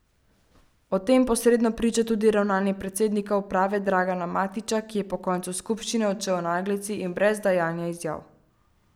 O tem posredno priča tudi ravnanje predsednika uprave Draga Matića, ki je po koncu skupščine odšel v naglici in brez dajanja izjav.